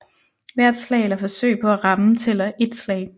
Hvert slag eller forsøg på at ramme tæller ét slag